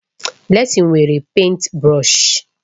Blessing nwere pèịnt brọsh.